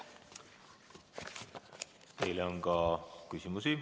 Teile on ka küsimusi.